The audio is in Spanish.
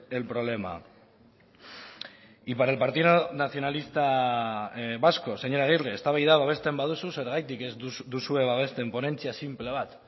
el problema y para el partido nacionalista vasco señor aguirre eztabaida babesten baduzu zergatik ez duzue babesten ponentzia sinple bat